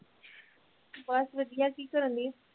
ਬਸ ਵਧੀਆ ਕੀ ਕਰਨ ਦਈ